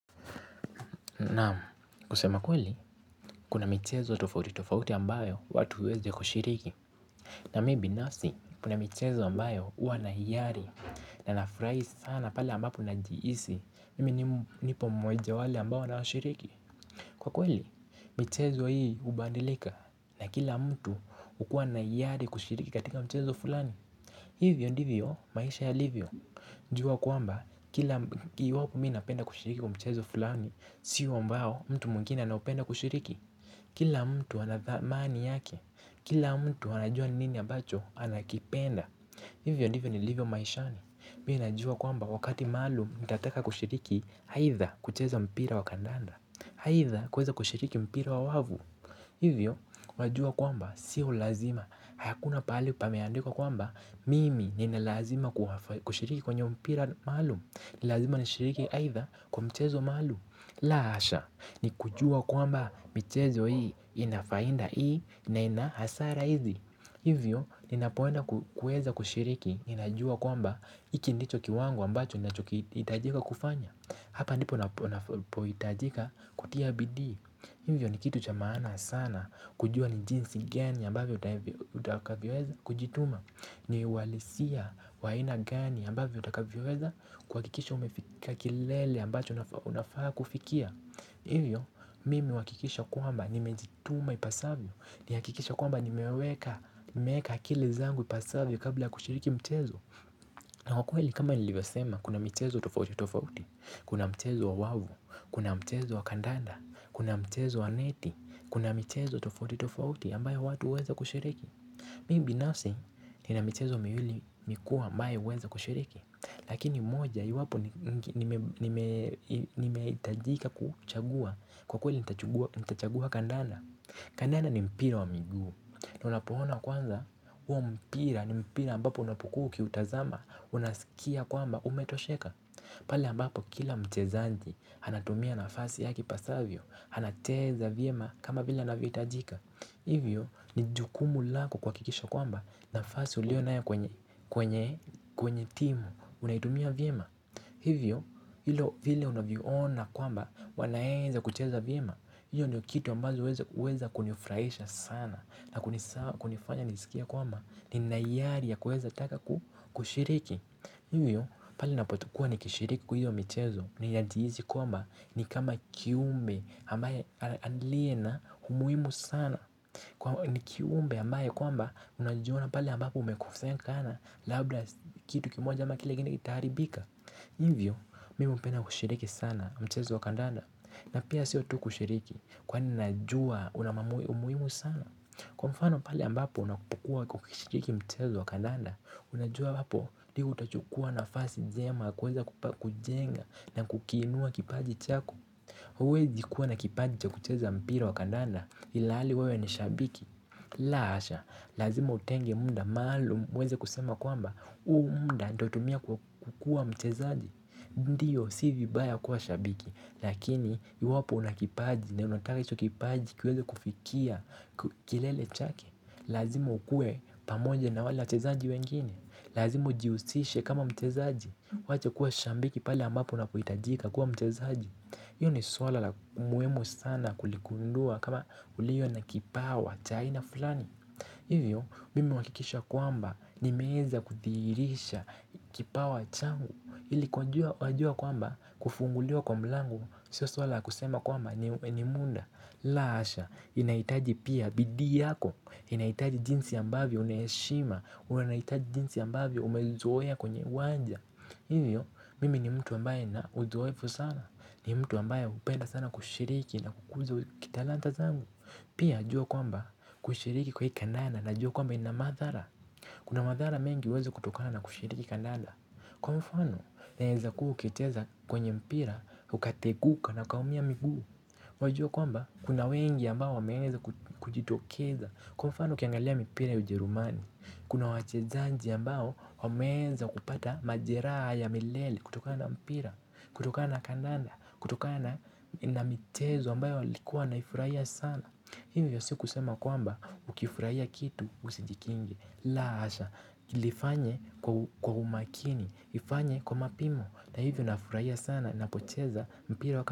Naam, kusema ukweli, kuna mchezo tofauti tofauti ambayo watu huweza kushiriki na mimi binafsi kuna michezo ambayo huwa na hiari, na nafurahi sana pale ambapo najihisi mimi nipo mmoja wa wale ambao wanashiriki, kwa kweli mchezo hii hubadilika, na kila mtu hukuwa na hiari kushiriki katika mchezo fulani Hivyo ndivyo maisha yalivyo, jua kwamba kila mimi napenda kushiriki kwa mchezo fulani, sio ambao mtu mwingine anaopenda kushiriki Kila mtu anadhamani yake, kila mtu anajua nini ya ambacho anakipenda Hivyo ndivyo nilivyo maishani, mimi najua kwamba wakati maalun nitataka kushiriki aidha kucheza mpira wa kandanda, aidha kuweza kushiriki mpira wa wavu Hivyo wajua kwamba sio lazima, hakuna pahali pame andikwa kwamba, mimi nina lazima kushiriki kwenye mpira maalum, ni lazima nishiriki aidha kwa mchezo maalum la hasha, ni kujua kwamba michezo hii ina faida hii na ina hasara hizi Hivyo, ninapoenda kueza kushiriki. Ninajua kwamba hiki ndicho kiwango ambacho kinahitajika kufanya, hapa ndipo upohitajika kutia bidii. Hivyo ni kitu cha maana sana kujua ni jinsi gani ambavyo utakavyoweza kujituma ni walisia wa ina gani ambavyo utakavyoweza, kuhakikisha umefika kilele ambacho unafaa kufikia. Hivyo, mimi huhakikisha kwamba nimejituma ipasavyo ni hakikishe kwamba nimeweka akili zangu ipasavyo kabla kushiriki mtezo na kwa kweli kama nilivyo sema kuna michezo tofauti tofauti, kuna mchezo wa wavu, kuna mchezo wa kandanda, kuna mchezo wa neti, kuna michezo tofauti tofauti ambayo watu huweza kushiriki. Mimi binafsi nina mchezo miwili mikuu ambayo huweza kushiriki. Lakini moja iwapo nimehitajika kuchagua kwa kweli nitachagua kandanda. Kandanda ni mpira wa miguu, na unapouona kwanza, huo mpira ni mpira mbapo unapokuwa ukiutazama, unasikia kwamba umetosheka pale mbapo kila mchezaji anatumia nafasi yake ipasavyo, anacheza vyema kama vile anavyo hitajika, hivyo, nijukumu lako kuhakikisha kwamba, nafasi ulionayo kwenye kwenye timu, unaitumia vyema. Hivyo vile unavyo ona kwamba wanaweza kucheza vyema, hiyo ndio kitu ambayo huweza kunifurahisha sana na kunifanya nisikie kwamba nina hiyari ya kuweza taka ku kushiriki, hivyo pale ninapo kuwa nikishiriki kwa hiyo michezo nina jihisi kwamba ni kama kiumbe ambaye aliye na umuhimu sana kwa ni kiumbe ambaye kwamba unajiona pale ambapo umekosea sana labda kitu kimoja ama kile kingine kitaharibika. Hivyo, mimi hupenda kushiriki sana mchezo wakandanda na pia sio tu kushiriki, kwani najua una umuhimu sana Kwa mfano pale ambapo unakupukuwa ukishiriki mchezo wa kandanda unajua hapo ndio utachukua nafasi njema kuweza kujenga na kukiinua kipaji chako huwezi kuwa na kipaji cha kucheza mpira wakandanda ilhali wewe nishabiki la hasha, lazima utenge muda maalum, uweze kusema kwamba, huu muda ndio natumia kukuwa mchezaji Ndio, si vibaya kuwa shabiki, lakini iwapo una kipaji, na unataka hicho kipaji kiweze kufikia kilele chake, lazima ukuwe pamoja na wale mchezaji wengine, lazima ujihusishe kama mchezaji, uwache kuwa shambiki pale ambapo unapo hitajika kuwa mchezaji hiyo ni swala la muhimu sana kuligundua kama uliyo na kipawa, cha aina fulani Hivyo, mimi huhakikisha kwamba nimeweza kuthihirisha kipawa changu ili kujua kwamba kufunguliwa kwa mlango, sio swala la kusema kwamba ni muda, la hasha, inaitaji pia bidii yako, inaitaji jinsi ambavyo una heshima, unaitaji jinsi ambavyo umelizoea kwenye uwanja Hivyo, mimi ni mtu ambaye nina uzoeefu sana, ni mtu ambaye hupenda sana kushiriki na kukuza kitalanta zangu Pia, jua kwamba kushiriki kwa hii kandana na jua kwamba ina madhara Kuna madhara mengi huweza kutokana na kushiriki kandana, kwa mfano, unaweza kuwa ukicheza kwenye mpira, ukateguka na ukaumia miguu Wajua kwamba, kuna wengi ambao wameza kujitokeza, kwa mfano, uki angalia mpira ujerumani kuna wachezaji ambao wameweza kupata majeraha ya milele kutokana mpira, kutokana kandanda, kutokana na na michezo mbayo walikuwa wanaifurahia sana, hivyo si kusema kwamba ukifurahia kitu usijikinge. La hasha, lifanye kwa umakini, lilifanye kwa mapimo na hivyo nafurahia sana ninapocheza mpira waka.